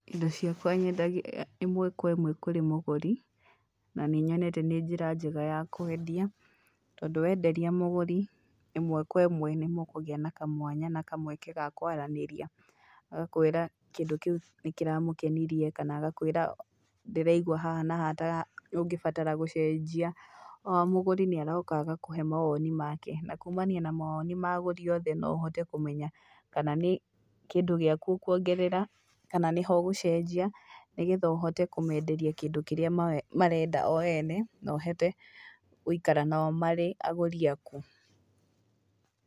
Indo ciakwa nyendagia ĩmwe kwa ĩmwe kũrĩ mũgũri, na nĩ nyonete nĩ njĩra njega ya kwendia tondũ wenderia mũgũri ĩmwe kwa ĩmwe nĩ mũkũgĩa na kamwanya na kamweke ga kwaranĩria. Agakwĩra kĩndũ kĩu nĩ kĩramũkenirie kana agakwĩra, ndĩraigua haha na haha ta ũngĩbatara gũcenjia o mũgũri nĩ aroka agakũhe mawoni make na kumania na mawoni ma agũri othe no ũhote kũmenya kana nĩ kĩndũ gĩaku ũkuongerera kana nĩ ha ũgũcenjia nĩ getha ũhote kũmenderia kĩndũ kĩrĩa marenda o ene na ũhote gũikara nao marĩ agũri aku.